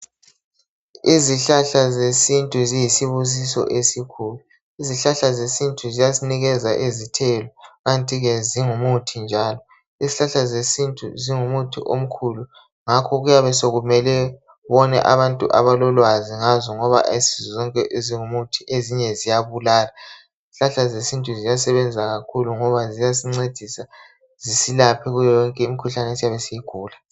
Izihlahla zesintu ziyisibusiso esikhulu. Izihlahla zesintu ziyasinikeza izithelo kanti ke zingumuthi njalo. Izihlahla zesintu zingumuthi omkhulu ngakho kuyabe sokumele ubone abantu abalolwazi ngazo ngoba ayisizo zonke ezingumuthi ezinye ziyabulala. Izihlahla zesintu ziyasebenza kakhulu ngoba ziyasincedisa zisilaphe kuyo yonke imikhuhlane esiyabe siyigula